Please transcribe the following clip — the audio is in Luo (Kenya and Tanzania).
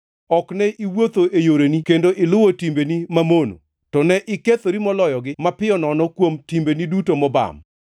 Ok ne iwuotho e yoreni kendo iluwo timbeni mamono, to ne ikethori moloyogi mapiyo nono kuom timbeni duto mobam.